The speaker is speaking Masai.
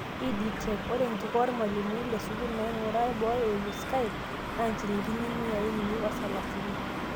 Ed Tech:Ore enkikoo oormalimuni lesukuul naing'ua boo eimu skype naa nchilingini miai uni, osalasini